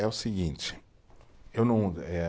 É o seguinte, eu não, eh